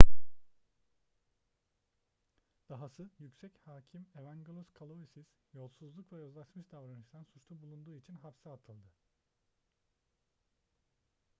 dahası yüksek hakim evangelos kalousis yolsuzluk ve yozlaşmış davranıştan suçlu bulunduğu için hapse atıldı